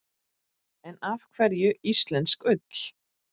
En af hverju íslensk ull?